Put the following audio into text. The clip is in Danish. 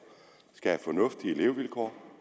skal have fornuftige levevilkår